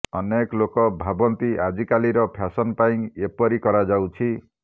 ଅନେକ ଲୋକ ଭାବନ୍ତି ଆଜିକାଲିର ଫ୍ୟାସନ ପାଇଁ ଏପରି କରାଯାଉଛି